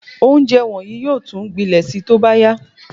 Ounjẹ wọnyii yóò tún gbilẹ̀ sí tóbá ya